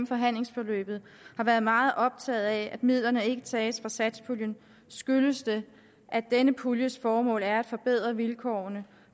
forhandlingsforløbet har været meget optaget af at midlerne ikke tages fra satspuljen skyldes det at denne puljes formål er at forbedre vilkårene